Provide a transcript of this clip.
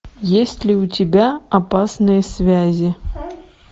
есть ли у тебя опасные связи